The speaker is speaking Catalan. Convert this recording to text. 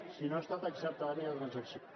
si no ha estat acceptada no hi ha transacció